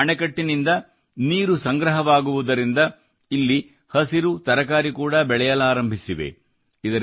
ಬೋರಿ ಅಣೆಕಟ್ಟಿನಿಂದ ನೀರು ಸಂಗ್ರಹವಾಗುವುದರಿಂದ ಇಲ್ಲಿ ಹಸಿರುತರಕಾರಿ ಕೂಡಾ ಬೆಳೆಯಲಾರಂಭಿಸಿವೆ